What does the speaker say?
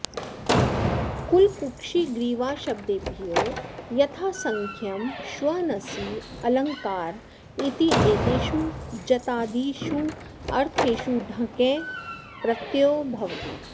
कुलकुक्षिग्रीवाशब्देभ्यो यथासङ्ख्यं श्वनसि अलङ्कार इत्येतेषु जतादिष्वर्थेषु ढकञ् प्रत्ययो भवति